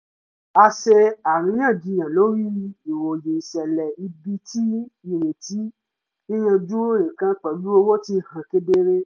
a ṣe àríyànjiyàn lórí ìròyìn ìṣẹ̀lẹ̀ ibi tí ìrètí yíyanjú nǹkan pẹ̀lú owó ti hàn kedere